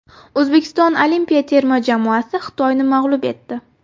O‘zbekiston olimpiya terma jamoasi Xitoyni mag‘lub etdi .